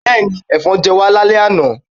Bẹ́ẹ̀ni, Ẹ̀fọn jẹ us lálẹ́ àná